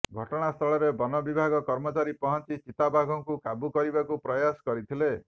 ଘଟଣାସ୍ଥଳରେ ବନ ବିଭାଗ କର୍ମଚାରୀ ପହଞ୍ଚି ଚିତାବାଘକୁ କାବୁ କରିବାକୁ ପ୍ରୟାସ କରିଥିଲେ